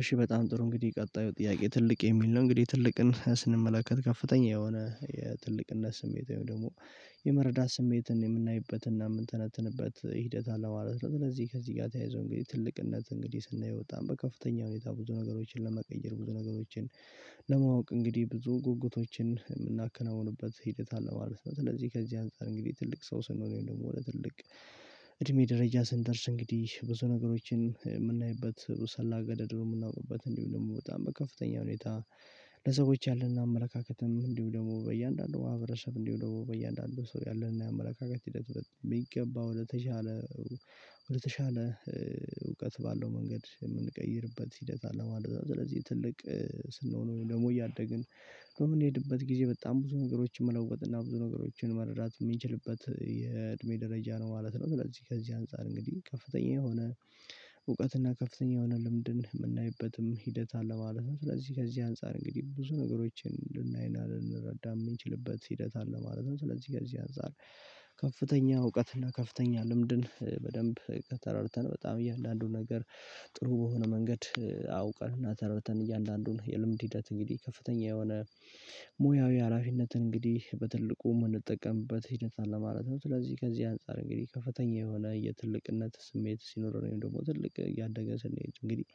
እሺ በጣም ጥሩ እንግዲህ ቀጣዩ ጥያቄ ትልቅ የሚል ነው እንግዲህ ትልቅን ስንመለከት ከፍተኛ የሆነ የትልቅነት ስሜት ወይም ደግሞ የመረዳት ስሜትን የምናይበትና የምንተነተንበት ሂደት አለማለት ነው። ስለዚህ ከዚህ ጋር ተያይዞ እንግዲህ ትልቅነት እንግዲህ ስናየው ወጣን በከፍተኛ ሁኔታ ብዙ ነገሮችን ለመቀየር ብዙ ነገሮችን ለማወቅ እንግዲህ ብዙ ጉጉቶችን ምናከናውንበት ሂደት አለ ማለት ነው። ስለዚህ ከዚህ አንፃር እንግዲህ ትልቅ ሰው ስንሆን ደግሞ ለትልቅ እድሜ ደረጃ ስንደርስ እንግዲህ ብዙ ነገሮችን የምናይበት ውሰላ ገደድ ነው። የምናውርበት እንዲሁ ደግሞ በጣም በከፍተኛ ሁኔታ ለሰዎች ያለንን አመለካከትም እንዲሁ ደግሞ በእያንዳንዱ ማህብረሰብ እንዲሆን በእያንዳንዱ ሰው ያለንን አመለካከት ሂደት በሚገባው ለተሻለ ወደተሻለ ወደተሻለ እውቀት ባለው መንገድ የምንቀይርበት ሂደት። አለማለት ስለዚህ ትልቅ ስንሆን ደግሞ እያደግን እንሄድበት ጊዜ በጣም ብዙ ነገሮችን መለወጥ እና ብዙ ነገሮችን መረዳት ሚችልበት የእድሜ ደረጃ ነው ማለት ነው። ስለዚህ ከዚህ አንፃር እንግዲህ ከፍተኛ የሆነ እውቀትና ከፍተኛ የሆነ ልምድን ምናይበትም ሂደት አለ ማለት ነው። ስለዚህ ከዚህ አንፃር እንግዲህ ብዙ ነገሮችን ልናይና ልንረዳ የምንችልበት ሂደት አለ ማለት ነው። ስለዚህ ጋር እዚህ አንፃር ከፍተኛ እውቀትና ከፍተኛ ልምድን በደንብ ተረድተን በጣም እያለ አንዱ ነገር ጥሩ በሆነ መንገድ አውቀን እና ተራርተን እያለ እያንዳንዱን የልምድ ሂደት እንግዲህ ከፍተኛ የሆነ ሙያዊ ሀላፊነትን እንግዲህ በትልቁ የምንጠቀምበት ህደት አለ ማለት ነው። ስለዚህ ከዚህ አንፃር እንግዲህ ከፍተኛ የሆነ የትልቅነት ስሜት ሲኖረን ወይም ደግሞ ትልቅ ያደገ ስንሄድ እንግዲህ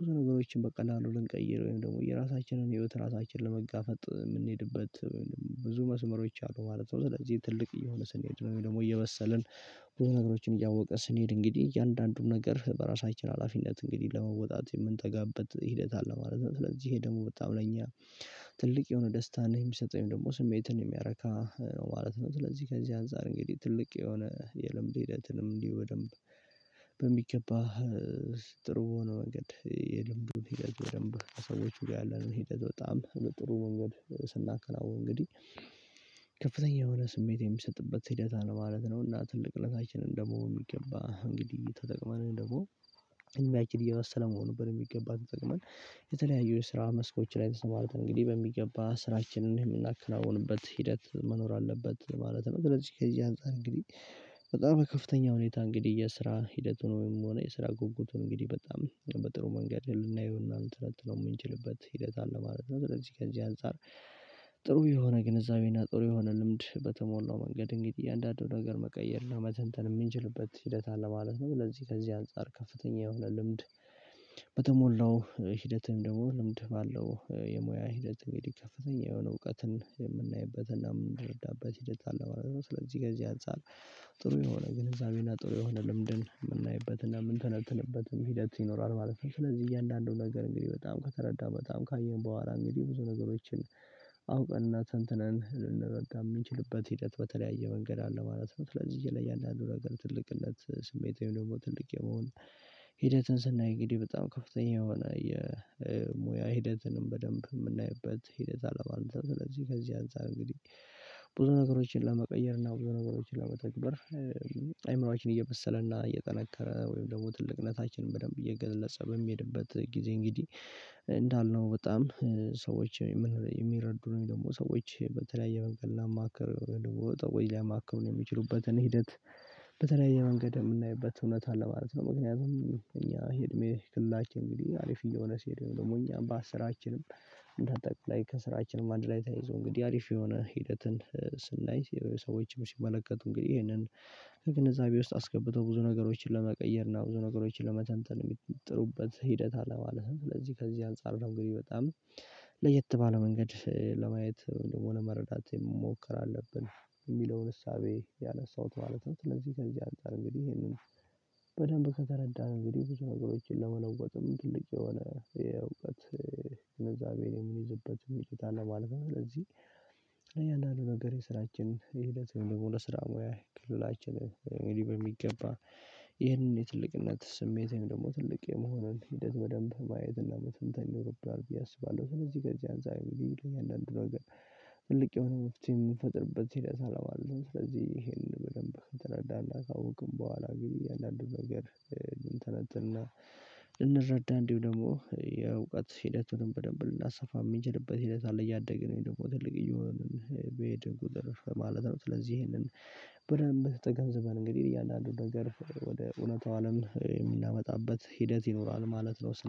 ብዙ ነገሮችን በቀላሉ ልንቀይረው ወይም ደግሞ የራሳችንን ህይወት ራሳችንን ለመጋፈጥ የምንሄድበት ወይም ብዙ መስመሮች አሉ ማለት ነው። ስለዚህ ትልቅ እየሆነ ስንሄድ ወይም ደግሞ እየበሰልን ብዙ ነገሮችን እያወቀ ስንሄድ እንግዲህ እያንዳንዱን ነገር በራሳችን ሀላፊነት እንግዲህ ለመወጣት የምንጠጋበት ሂደት አለ ማለት ነው። ስለዚህ ይሄ ደግሞ በጣም ለእኛ ትልቅ የሆነ ደስታ ነህ የሚሰጠኝ ደግሞ ስሜትን የሚያረካ ነው ማለት ነው። ስለዚህ ከዚህ አንፃር እንግዲህ ትልቅ የሆነ የልምድ ሂደትንም እንዲህ በደንብ በሚገባ ጥሩ ሆኖ መንገድ የልምዱን ሂደት በደንብ ሰዎች ያለን ሂደት በጣም ጥሩ መንገድ ስናከናውን እንግዲህ ከፍተኛ የሆነ ስሜት የሚሰጥበት ሂደት ነው ማለት ነው። እና ትልቅነታችንን ደግሞ የሚገባ እንግዲህ ተጠቅማን ደግሞ ዕድምችም እየባሰለ መሆኑ በደንብ የሚገባን ተጠቅመን የተለያዩ የስራ መስኮች ላይ ተሰማርተን እንግዲህ በሚገባ ስራችንን የምናከናውንበት ሂደት መኖር አለበት። ማለትም ስለዝህ ከዚ አንፃር እንግዲህ በጣም ከፍተኛ ሁኔታ እንግዲህ የስራ ሂደቱን ወይም ሆነ የስራ ጉጉቱን እንግዲህ በጣም በጥሩ መንገድ ልናየው እናንተ ልትለጥለው የምንችልበት ሂደት አለ ማለት ነው። ስለዚህ ከዚህ አንፃር ጥሩ የሆነ ግንዛቤና ጥሩ የሆነ ልምድ በተሞላው መንገድ እንግዲህ እያንዳንዱ ነገር መቀየር እና መተንተን ምንችልበት ሂደት አለ ማለት ነው። ለዚህ ከዚህ አንፃር ከፍተኛ የሆነ ልምድ በተሞላው ሂደትም ደግሞ ልምድ ባለው የሙያ ሂደትም ይከፈተኛል የሆነ እውቀትን የምናይበትና የምንረዳበት ሂደት አለ ማለት ነው። ስለዚህ ጊዜ አንፃር ጥሩ የሆነ ግንዛቤና ጥሩ የሆነ ልምድን ምናይበትና ምንተነትንበትም ሂደት ይኖራል ማለት ነው። ስለዚህ እያንዳንዱ ነገር እንግዲህ በጣም ከተረዳሁ በጣም ካየን በኋላ እንግዲህ ብዙ ነገሮችን አውቀንና ትንትነን ልንርዳጋ ምንችልበት ሂደት በተለያየ መንገድ አለ ማለት ነው። ስለዚህ እየለያንዳንዱ ነገር ትልቅነት ስሜት ወይም ደግሞ ትልቅ የመሆን ሂደትን ስናይ እንግዲህ በጣም ከፍተኛ የሆነ የሙያ ሂደትንም በደንብ ምናይበት ሂደት አለባለት። ስለዚህ ከዚህ አንፃር እንግዲህ ብዙ ነገሮችን ለመቀየር እና ብዙ ነገሮችን ለመተግበር አይምሮአችን እየመሰለና እየጠነከረ ወይም ደግሞ ትልቅነታችንን በደንብ የገለጸ በሚሄድበት ጊዜ እንግዲህ እንዳልነው በጣም ሰዎች የሚረዱ ነው የሚለው ደግሞ ሰዎች በተለያየ መንገድ ላማከር ወይ ላማከር የሚችሉበትን ሂደት በተለያየ መንገድ የምናይበት እውነት አለ ማለት ነው። ምክንያቱም እኛ እድሜ ክልላችን እንግዲህ አሪፍ እየሆነ ሲሄዱ ደግሞ እኛም በስራችንም እንዳንጠቅላይ ከስራችንም አንድ ላይ ተይዞ እንግዲህ አሪፍ የሆነ ሂደትን ስናይ ሰዎችን ሲመለከቱ እንግዲህ ይሄንን ከግንዛቤ ውስጥ አስገብተው ብዙ ነገሮችን ለመቀየር እና ብዙ ነገሮችን ለመተንተን የሚጥሩበት ሂደት አለ ማለት ነው። ስለዚህ ከዚህ አንፃር ነው ግን በጣም ለየት ባለ መንገድ ለማየት ደግሞ መረዳት መሞከር አለብን የሚለውን እሳቤ ያነሳሁት ማለት ነው። ለዚህ ከዚህ አንፃር እንግዲህ ይሄንን በደንብ ከተረዳን እንግዲህ ብዙ ነገሮችን ለመለወጥም ትልቅ የሆነ የእውቀት ንዛቤን የምይዝበት የሚጠይቅ አለ ማለት ነው። ስለዚህ እኛ አንዳንድ ነገር የስራችን ሂደት የሆነ ስራ ሙያ ክልላችንን እኔ በሚገባ ይህንን የትልቅነት ስሜቴን ደግሞ ትልቅ የመሆኑን ሂደት በደንብ ማየትና መተንተን ይኖርብናል ብዬ አስባለሁ። ስለዚህ ገንዘብ አንፃል የለም እያንዳንዱ ነገር ትልቅ የሆነ መፍትሄ የምንፈጥርበት ህዴት አለው። ስለዚህ ይሄንን በደንብ ከተረዳንና ከአውቅን በኋላ እንግዲህ አያንዳንዱ ነገር እንተነትንና እንረዳ እንዲሁ ደግሞ የእውቀት ሂደቱንም በደንብ ልናሰፋ ሚችልበት ሂደት አለ እያደገ ነው የሚለው ትልቅ እየሆንን በየድን ቁጥር ማለት ነው። ስለዚህ ይሄንን በደንብ ተገንዘበን እንግዲህ እያንዳንዱ ነገር ወደ እውነታው አለም ምናመጣበት ሂደት ይኖራል ማለት ነው